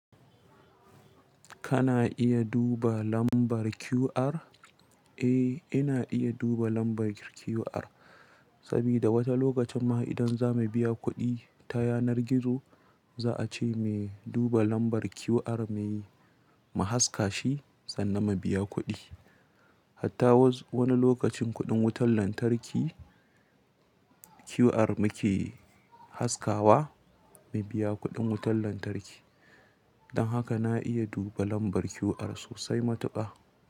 Kana iya duba lambar QR? Eh ina iya duba lambar qr saboda wani lokacin mah idan zamu biya kuɗi ta yanar gizo zaace mu duba lambar qr mai mu haskashi sannan mu biya kuɗi. Hatta wani lokacin kuɗin wutar lantarki QR muke haskawa mu biya kuɗin wutar lantarki. Don haka na iya duba lambar qr sosai matuƙa.